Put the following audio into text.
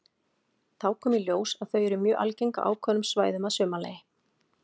Þá kom í ljós að þau eru mjög algeng á ákveðnum svæðum að sumarlagi.